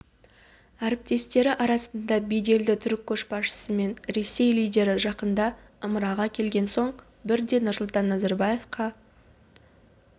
әріптестері арасында беделді түрік көшбасшысы мен ресей лидері жақында ымыраға келген соң бірден нұрсұлтан назарбаевқа